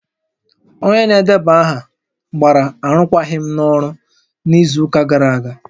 Onye na-edeba aha gbara arụkwaghịm n'ọrụ n'izu ụka gara aga